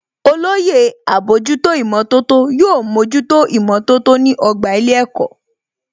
Olóyè àbójútó ìmọ̀tótó yóò mójútó ìmọ̀tótó ní ọgbà ilé ẹ̀kọ́